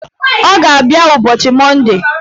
Ọ ga-abịa ụbọchị Monde